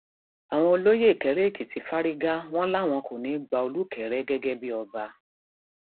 àwọn olóyè ìkéréèkìtì fárígá wọn làwọn kò ní í gba olùkẹrẹ gẹgẹ bíi ọba